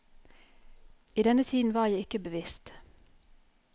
I denne tiden var jeg ikke bevisst.